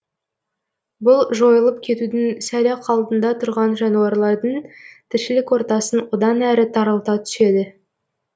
бұл жойылып кетудің сәл ақ алдында тұрған жануарлардың тіршілік ортасын одан әрі тарылта түседі